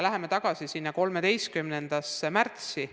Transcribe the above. Läheme tagasi sinna 13. märtsi.